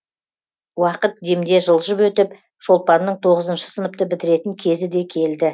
уақыт демде жылжып өтіп шолпанның тоғызыншы сыныпты бітіретін кезі де келді